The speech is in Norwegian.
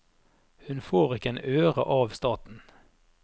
Hun får ikke en øre av staten.